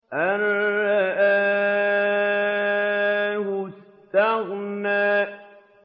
أَن رَّآهُ اسْتَغْنَىٰ